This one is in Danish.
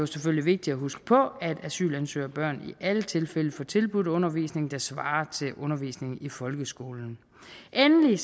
selvfølgelig vigtigt at huske på at asylansøgerbørn i alle tilfælde får tilbudt undervisning der svarer til undervisningen i folkeskolen endelig